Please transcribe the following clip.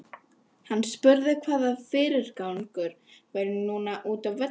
Hann spurði hvaða fyrirgangur væri núna útá velli.